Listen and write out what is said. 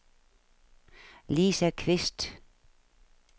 Lisa Qvist